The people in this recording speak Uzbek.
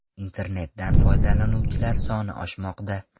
Internetdan foydalanuvchilar soni oshmoqda.